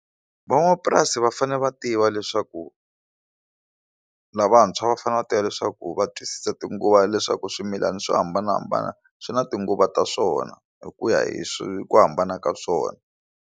Van'wamapurasi va fanele va tiva leswaku lavantshwa va fanele va tiva leswaku va twisisa tinguva leswaku swimilana swo hambanahambana swi na tinguva ta swona hi ku ya hi swi ku hambana ka swona.